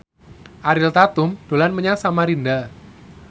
Ariel Tatum dolan menyang Samarinda